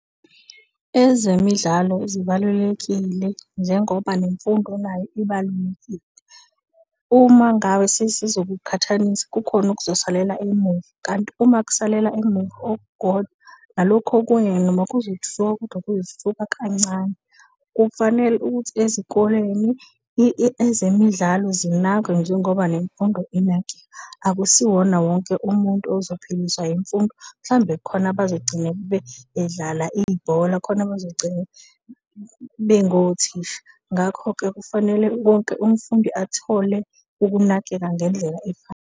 Ezemidlalo zibalulekile njengoba nemfundo nayo ibalulekile. Uma ngabe sizo kuqhathanisa, kukhona okuzosalela emuva. Kanti uma kusalela emuva okukodwa nalokhu, okunye kancane. Kufanele ukuthi ezikoleni ezemidlalo zinakwe njengoba nemfundo , akusiwona wonke umuntu ozophiliswa imfundo, mhlawumbe kukhona abazogcina bedlala ibhola, kukhona abazogcina bengothisha. Ngakho-ke kufanele wonke umfundi athole ukunakeka ngendlela .